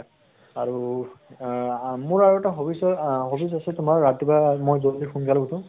আৰু আহ আ মোৰ আৰু এটা hobbies ৰ আহ hobbies আছে তোমাৰ ৰাতিপুৱা মৈ জল্দি সোনকালে উঠো